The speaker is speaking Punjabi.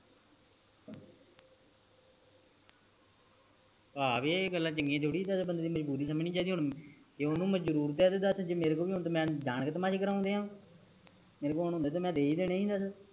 ਆ ਵੀ ਆ ਗੱਲਾਂ ਚੰਗੀਆਂ ਥੋੜੀ ਏ ਜੇੜਾ ਬੰਦੇ ਦੀ ਮਜਬੂਰੀ ਸਮਝਣੀ ਚਾਹੀਦੀ ਆ ਜ ਮੇਰੇ ਕੋਲ ਹੋਣ ਤਾ ਮੈ ਜਾਨ ਕ ਤਮਾਸ਼ ਕਰਾਉਣੇ ਆ ਮੇਰੇ ਕੋਲ ਹੁੰਦੇ ਤਾ ਮੈ ਦੇ ਹੀ ਦੇਣੇ ਸੀ ਦਾਸ